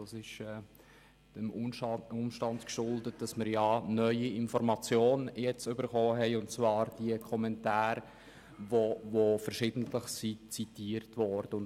Das ist dem Umstand geschuldet, dass wir nun neue Informationen erhalten haben und zwar diese Kommentare, die verschiedentlich zitiert worden sind.